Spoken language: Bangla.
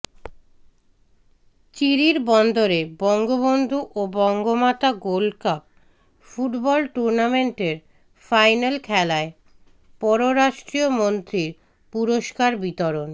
চিরিরবন্দরে বঙ্গবন্ধু ও বঙ্গমাতা গোল্ডকাপ ফুটবল টুর্নামেন্টের ফাইনাল খেলায় পররাষ্ট্রমন্ত্রীর পুরস্কার বিতরণ